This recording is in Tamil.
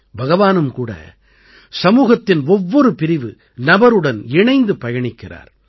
பகவானும் கூட சமூகத்தின் ஒவ்வொரு பிரிவு நபருடன் இணைந்து பயணிக்கிறார்